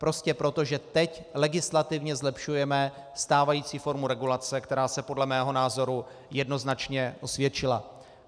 Prostě proto, že teď legislativně zlepšujeme stávající formu regulace, která se podle mého názoru jednoznačně osvědčila.